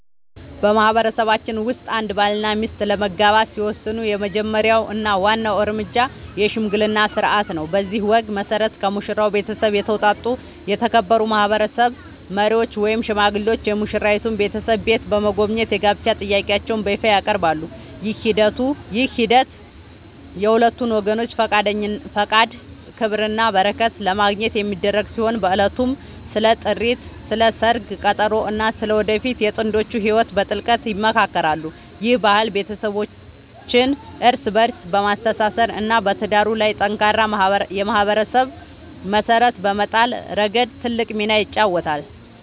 በማህበረሰባችን ውስጥ አንድ ባልና ሚስት ለመጋባት ሲወስኑ የመጀመሪያው እና ዋናው እርምጃ **የሽምግልና ሥርዓት** ነው። በዚህ ወግ መሠረት፣ ከሙሽራው ቤተሰብ የተውጣጡ የተከበሩ ማህበረሰብ መሪዎች ወይም ሽማግሌዎች የሙሽራይቱን ቤተሰብ ቤት በመጎብኘት የጋብቻ ጥያቄያቸውን በይፋ ያቀርባሉ። ይህ ሂደት የሁለቱን ወገኖች ፈቃድ፣ ክብርና በረከት ለማግኘት የሚደረግ ሲሆን፣ በዕለቱም ስለ ጥሪት፣ ስለ ሰርግ ቀጠሮ እና ስለ ወደፊቱ የጥንዶቹ ህይወት በጥልቀት ይመካከራሉ። ይህ ባህል ቤተሰቦችን እርስ በእርስ በማስተሳሰር እና በትዳሩ ላይ ጠንካራ የማህበረሰብ መሰረት በመጣል ረገድ ትልቅ ሚና ይጫወታል።